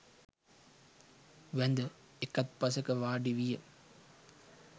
වැඳ එකත්පසෙක වාඩි විය.